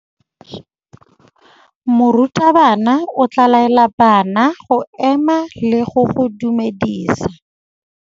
Morutabana o tla laela bana go ema le go go dumedisa.